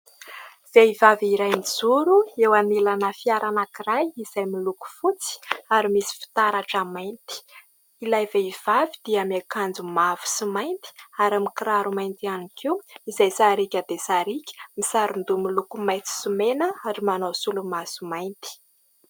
Vehivavy iray mijoro eo anilana fiara anankiray izay miloko fotsy ary misy fitaratra mainty. Ilay vehivavy dia miakanjo mavo sy mainty ary mikiraro mainty ihany koa izay sariaka dia sariaka, misaron-doha miloko maintsy sy mena ary manao solomaso mainty.